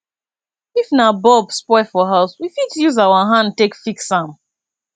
if na bulb spoil for house we fit use our hand take fix am